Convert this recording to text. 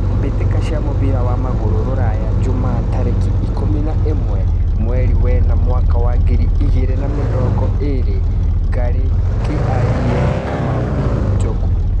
Mbĩ tĩ ka cia mũbira wa magũrũ Ruraya Juma tarĩ ki ikũmi na ĩ mwe mweri wena mwaka wa ngiri igĩ rĩ na mĩ rongo ĩ rĩ : Ngarĩ , Kĩ ariĩ , Kamau, Njogu